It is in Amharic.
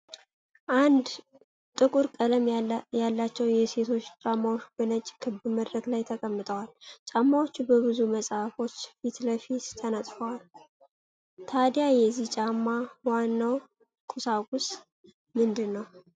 ጥቁር ቀለም ያላቸው የሴቶች ጫማዎች በነጭ ክብ መድረክ ላይ ተቀምጠዋል። ጫማዎቹ በብዙ መጽሐፎች ፊት ለፊት ተነጥፈዋል፡፡ ታዲያ የዚህ ጫማ ዋናው ቁሳቁስ ምንድን ነው?